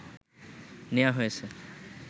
নেয়া হয়েছে